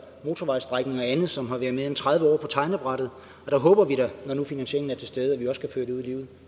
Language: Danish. motorvejsstrækninger og andet som har været mere end tredive år på tegnebrættet og der håber vi da når nu finansieringen er til stede at vi også kan føre det ud i livet